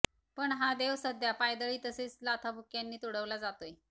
पण हा देव सध्या पायदळी तसेच लाथाबुक्क्यांनी तुडवला जातोय